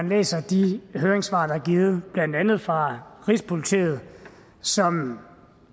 læst de høringssvar der er givet blandt andet fra rigspolitiet som